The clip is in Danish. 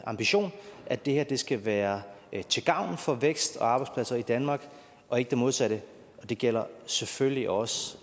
ambition at det her skal være til gavn for vækst og arbejdspladser i danmark og ikke det modsatte og det gælder selvfølgelig også